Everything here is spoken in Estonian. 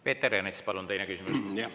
Peeter Ernits, palun, teine küsimus!